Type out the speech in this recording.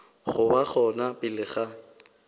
go ba gona pele ga